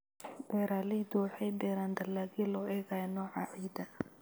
Beeraleydu waxay beeraan dalagyo loo eegayo nooca ciidda.